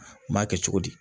N b'a kɛ cogo di